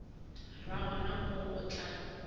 ra gona moo o tla